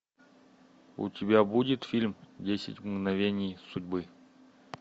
у тебя будет фильм десять мгновений судьбы